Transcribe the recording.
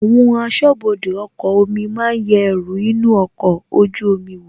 Àwọn asọ́bọdè ọkọ̀ omi máa yẹ ẹrù inú ọkọ̀ ojú omi wò,